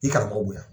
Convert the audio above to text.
I karamɔgɔ bonya